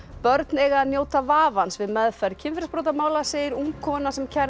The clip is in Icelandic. börn eiga að njóta vafans við meðferð kynferðisbrotamála segir ung kona sem kærði